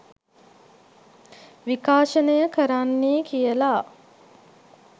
විකාශනය කරන්නේ කියලා.